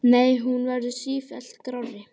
Nei, hún verður sífellt grárri.